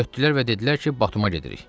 Götürdülər və dedilər ki, Batuma gedirik.